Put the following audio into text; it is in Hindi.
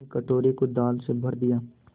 उसने कटोरे को दाल से भर दिया